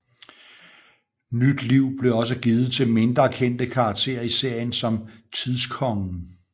Nyt liv blev også givet til mindre kendte karakterer i serien som Tidskongen